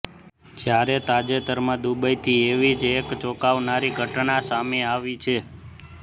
જ્યારે તાજેતરમાં દુબઈથી એવી જ એક ચોંકાવનારી ઘટના સામે આવી છે